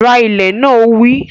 Ra ilẹ̀ náà! Ó wí